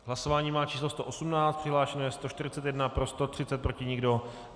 Hlasování má číslo 118, přihlášeno je 141, pro 130, proti nikdo.